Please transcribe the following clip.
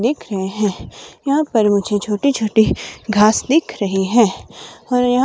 दिख रहे है यहां पर मुझे छोटे छोटे घास दिख रहे है और यहां--